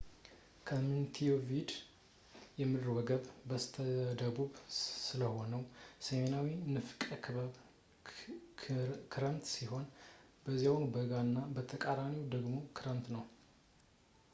ከሞንቴቪዲዮ ከምድር ወገብ በስተደቡብ ስለሆነ በሰሜናዊ ንፍቀ ክበብ ክረምት ሲሆን በዚያው በጋ እና በተቃራኒው ደግሞ ክረምት ነው